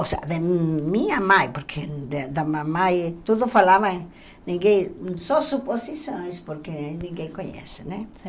Ou seja, de minha mãe, porque de da mamãe tudo falava ninguém, só suposições, porque ninguém conhece, né?